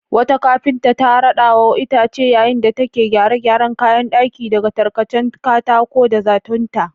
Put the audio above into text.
Wata kafinta ta rada wa itace yayin da take gyare-gyaren kayan daki daga tarkacen katako da zatonta.